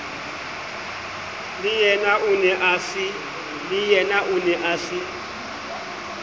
leyena o ne a se